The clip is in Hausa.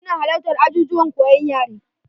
Su na halattar ajijuwan koyon yare.